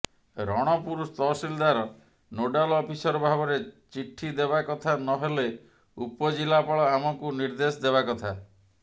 ରଣପୁର ତହସିଲ୍ଦାର nodal officer ଭାବରେ ଚିଠି ଦେବାକଥା ନହେଲେ ଉପଜିଲ୍ଲାପାଳ ଆମକୁ ନିର୍ଦ୍ଧେଶ ଦେବାକଥା